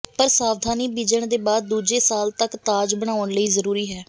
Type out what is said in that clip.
ਪਰ ਸਾਵਧਾਨੀ ਬੀਜਣ ਦੇ ਬਾਅਦ ਦੂਜੇ ਸਾਲ ਤੱਕ ਤਾਜ ਬਣਾਉਣ ਲਈ ਜ਼ਰੂਰੀ ਹੈ